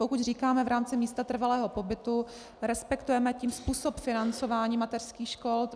Pokud říkáme v rámci místa trvalého pobytu, respektujeme tím způsob financování mateřských škol.